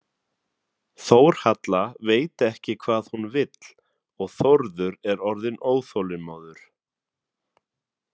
Þórhalla veit ekki hvað hún vill og Þórður er orðinn óþolinmóður.